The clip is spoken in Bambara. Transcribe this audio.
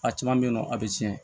A caman bɛ yen nɔ a bɛ tiɲɛ